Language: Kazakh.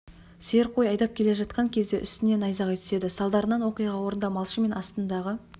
сиыр қой айдап келе жатқан кезде үсіне найзағай түседі салдарынан оқиға орнында малшы мен астындағы